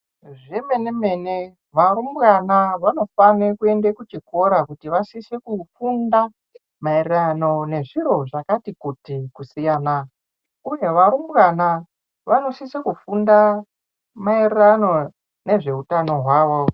Zvemene mene, varumbwana vanofane kuyende kuchikora kuti vasiso kufunda mayererano nezviro zvakati kuti kusiyana. Kunevarumbwana vanosise kufunda mayererano nezvehutano hwavo.